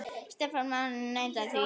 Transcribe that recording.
Stefán Máni neitar því ekki.